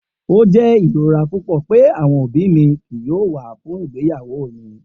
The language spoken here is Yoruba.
O jẹ irora pupọ pe awọn obi mi kii yoo wa fun igbeyawo mi.